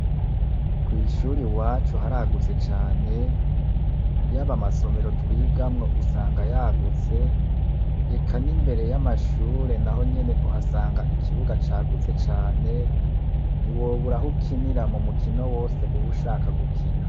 kwishure iwacu haragutse cane yaba amasomero twigamwo usanga yagutse eka nimbere y' amashure nahonyene uhasanga ikibuga cagutse cane ntiwobura ahukinira mumukino wose uba ushaka gukina.